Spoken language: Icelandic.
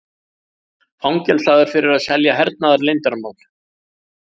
Fangelsaður fyrir að selja hernaðarleyndarmál